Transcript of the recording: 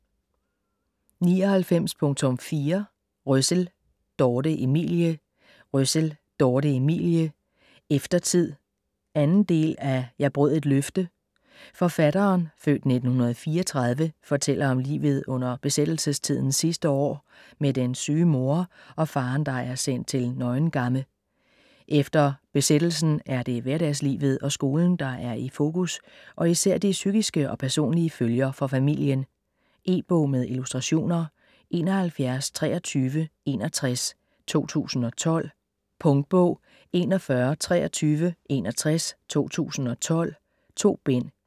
99.4 Røssell, Dorthe Emilie Røssell, Dorthe Emilie: Eftertid 2. del af Jeg brød et løfte. Forfatteren (f. 1934) fortæller om livet under besættelsestidens sidste år med den syge mor og faderen der er er sendt til Neuengamme. Efter besættelsen er det hverdagslivet og skolen, der er i fokus og især de psykiske og personlige følger for familien. E-bog med illustrationer 712361 2012. Punktbog 412361 2012. 2 bind.